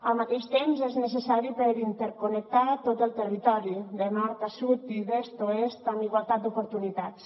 al mateix temps és necessari per interconnectar tot el territori de nord a sud i d’est a oest amb igualtat d’oportunitats